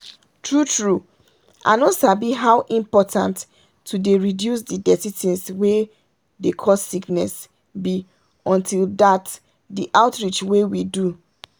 true true i no sabi how important to dey reduce the dirty things wey dey cause sickness be until that the outreach wey we do.